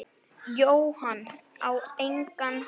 Jóhann: Á engan hátt?